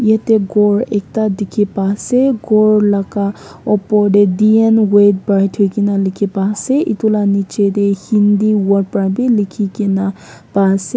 etey ekta ghor dikey pai ase ghor la ka opor tey D_N weigh bride likey pai ase aro etu la ka niche tey hindi word para b likey kena pai ase.